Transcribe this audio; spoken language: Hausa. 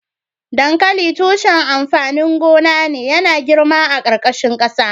Dankali tushen amfanin gona ne .Yana girma a karkashin kasa.